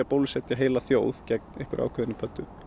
bólusetja heila þjóð gegn einhverri ákveðinni pöddu